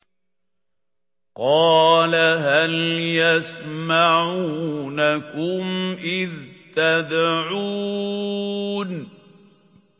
قَالَ هَلْ يَسْمَعُونَكُمْ إِذْ تَدْعُونَ